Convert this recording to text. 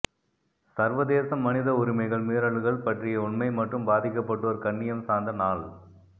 சர்வதேச மனித உரிமைகள் மீறல்கள் பற்றிய உண்மை மற்றும் பாதிக்கப்பட்டோர் கண்ணியம் சார்ந்த நாள்